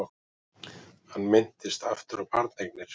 Hann minntist aftur á barneignir.